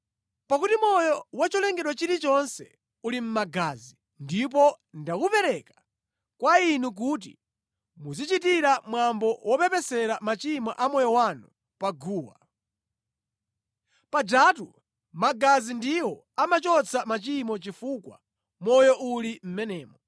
Pakuti moyo wa cholengedwa chilichonse uli mʼmagazi, ndipo ndawupereka kwa inu kuti muzichitira mwambo wopepesera machimo a moyo wanu pa guwa. Pajatu magazi ndiwo amachotsa machimo chifukwa moyo uli mʼmenemo.